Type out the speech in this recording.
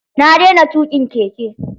Na daina tuƙin keke.